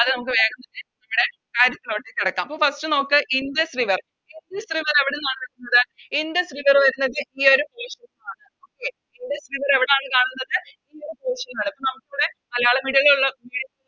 അത് നമുക്ക് വേഗം തന്നെ ഇവിടെ അപ്പൊ First ൽ തന്നെ ഇൻഡസ് River ഇൻഡസ് River എവിടുന്നാണ് വരുന്നത് ഇൻഡസ് River വരുന്നത് ആണ് Okay ഇൻഡസ് River എവിടാണ് കാണുന്നത് ഇപ്പൊ നമുക്കിവിടെ മലയാളം Medium ൽ ഉള്ളവര്